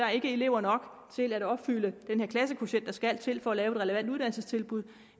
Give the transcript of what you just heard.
er elever nok til at opfylde den klassekvotient der skal til for at lave et relevant uddannelsestilbud